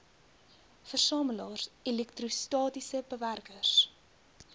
versamelaars elektrostatiese bewerkers